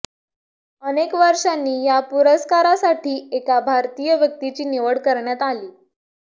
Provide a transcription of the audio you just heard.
अनेक वर्षांनी या पुरस्कारासाठी एका भारतीय व्यक्तीची निवड करण्यात आली